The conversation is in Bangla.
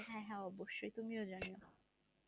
হ্যাঁ হ্যাঁ অবশ্যই তুমিও জানিও